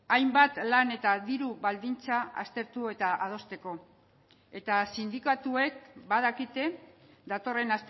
hainbat lan eta diru baldintza aztertu eta adosteko eta sindikatuek badakite datorren